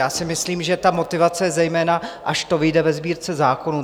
Já si myslím, že ta motivace je zejména, až to vyjde ve Sbírce zákonů.